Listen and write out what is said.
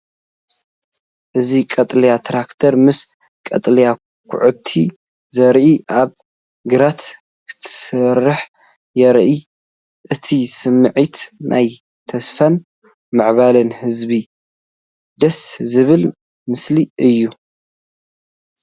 እዚ ቀጠልያ ትራክተር ምስ ቀጠልያ ኳዕቲ ዘርኢ ኣብ ግራት ክትሰርሕ የርኢ። እቲ ስሚዒት ናይ ተስፋን ምዕባለን ዝህብ ደስ ዝብል ምሰሊ እዩ።